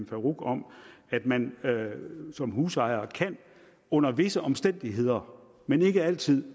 farooq om at man som husejer under visse omstændigheder men ikke altid